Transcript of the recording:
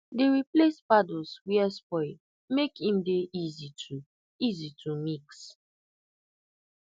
dey replace paddles were spoil make im dey easy to easy to mix